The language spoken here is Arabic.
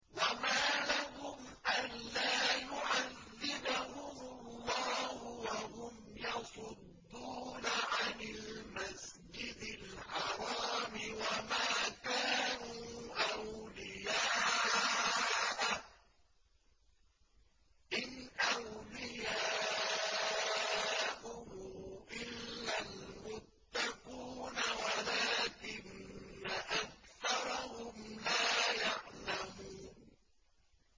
وَمَا لَهُمْ أَلَّا يُعَذِّبَهُمُ اللَّهُ وَهُمْ يَصُدُّونَ عَنِ الْمَسْجِدِ الْحَرَامِ وَمَا كَانُوا أَوْلِيَاءَهُ ۚ إِنْ أَوْلِيَاؤُهُ إِلَّا الْمُتَّقُونَ وَلَٰكِنَّ أَكْثَرَهُمْ لَا يَعْلَمُونَ